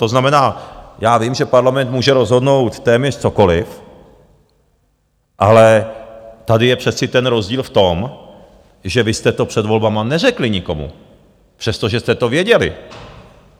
To znamená, já vím, že Parlament může rozhodnout téměř cokoli, ale tady je přece ten rozdíl v tom, že vy jste to před volbami neřekli nikomu, přestože jste to věděli.